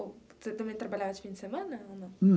Ou você também trabalhava de fim de semana, ou não?